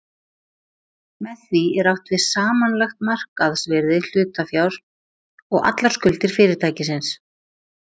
Með því er átt við samanlagt markaðsvirði hlutafjár og allar skuldir fyrirtækisins.